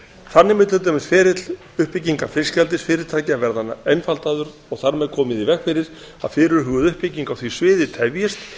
þannig mun til dæmis ferill uppbyggingar fiskeldisfyrirtækja verða einfaldaður og þar með komið í veg fyrir að fyrirhuguð uppbygging á því sviði tefjist